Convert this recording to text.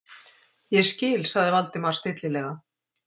Ég skil- sagði Valdimar stillilega.